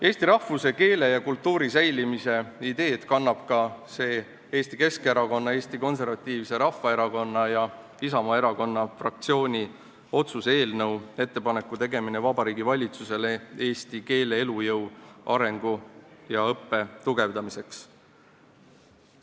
Eesti rahvuse, keele ja kultuuri säilimise ideed kannab ka see Eesti Keskerakonna, Eesti Konservatiivse Rahvaerakonna ja Isamaa Erakonna fraktsiooni esitatud otsuse "Ettepaneku tegemine Vabariigi Valitsusele eesti keele elujõu, arengu ja õppe tugevdamiseks" eelnõu.